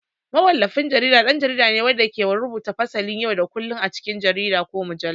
Mawallafin jarida ɗan jarida ne wanda ke rubuta fasalin yau da kullun a cikin jarida ko mujallu.